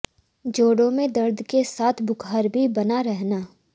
जोड़ों में दर्द के साथ बुख़ार भी बना रहना